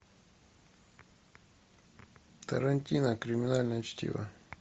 тарантино криминальное чтиво